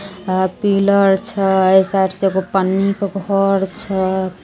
Pillar छै ए side से एगो पन्नी के घर छै।